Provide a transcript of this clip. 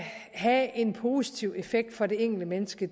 have en positiv effekt for det enkelte menneske